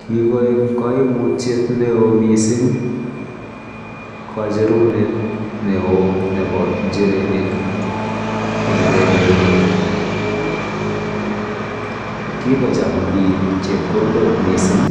Kigoik koimutyet neo missing kocherunet neo nebo njirenik en korenyu, kikocham biik chebkondok missing